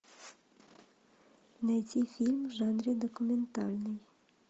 найти фильм в жанре документальный